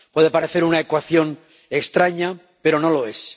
Puede parecer una ecuación extraña, pero no lo es.